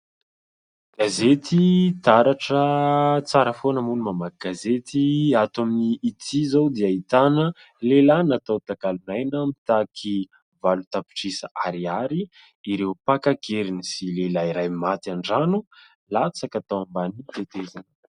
Gazety "Taratra", tsara foana moa ny mamaky gazety. Ato amin'ity zao dia ahitana lehilahy natao takalon'aina, mitaky valo tapitrisa ariary ireo mpaka an-keriny sy lehilahy iray maty an-drano latsaka tao ambany tetezana.